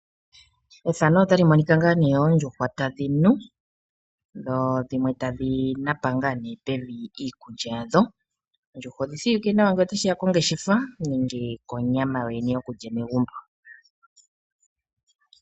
Oondjuhwa tadhi nu dho dhimwe tadhinapa ngaa nee pevi iikulya yadho. Oondjuhwa odhi shiwike nawa ngele tashiya kongeshefa nenge konyama yo yene yokulya megumbo.